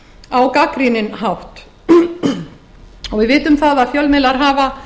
á gagnrýninn hátt við vitum að fjölmiðlar hafa